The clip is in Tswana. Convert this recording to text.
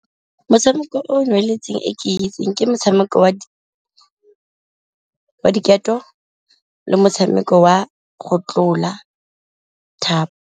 Motshameko o o ke itseng ke motshameko wa diketo le motshameko wa go tlola thapo.